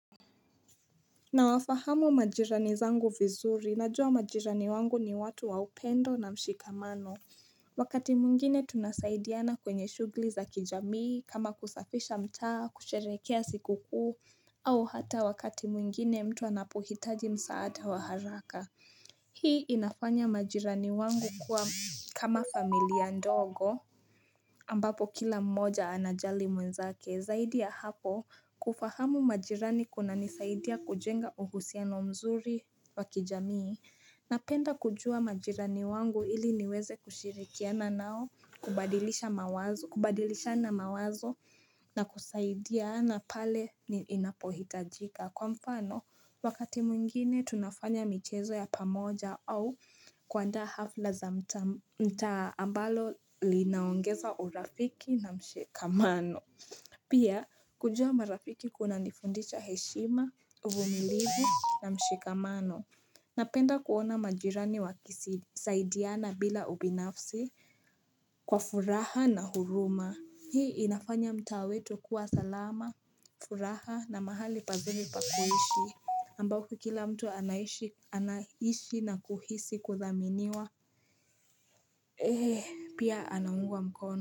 Na wafahamu majirani zangu vizuri, najua majirani wangu ni watu wa upendo na mshikamano. Wakati mwingine tunasaidiana kwenye shugli za kijamii, kama kusafisha mtaa, kusherekea siku kuu, au hata wakati mwingine mtu anapohitaji msaada wa haraka. Hii inafanya majirani wangu kuwa kama familia ndogo ambapo kila mmoja anajali mwenzake. Zaidi ya hapo kufahamu majirani kuna nisaidia kujenga uhusiano mzuri wakijamii. Napenda kujua majirani wangu ili niweze kushirikiana nao kubadilishana mawazo na kusaidia na pale inapohitajika. Kwa mfano, wakati mwingine tunafanya michezo ya pamoja au kuandaa hafla za mta ambalo linaongeza urafiki na mshikamano. Pia, kujua marafiki kuna nifundicha heshima, uvumilivu na mshikamano. Napenda kuona majirani wakisidiana bila ubinafsi kwa furaha na huruma. Hii inafanya mta wetu kuwa salama, furaha na mahali pazuri pakuiishi. Ambako kila mtu anahishi na kuhisi kuthaminiwa pia anangua mkono.